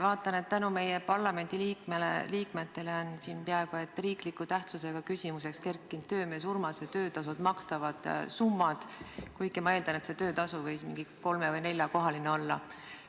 Vaatan, et tänu meie parlamendiliikmele on siin peaaegu et riikliku tähtsusega küsimuseks kerkinud töömees Urmase töötasult makstavad summad, kuigi ma eeldan, et see töötasu võis mingi kolme-neljakohaline olla.